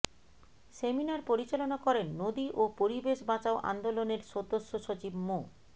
seminar পরিচালনা করেন নদী ও পরিবেশ বাঁচাও আন্দোলনের সদস্য সচিব মো